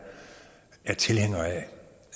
er tilhænger af